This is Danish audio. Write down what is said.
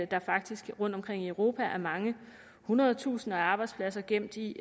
der faktisk rundtomkring i europa er mange hundrede tusinder af arbejdspladser gemt i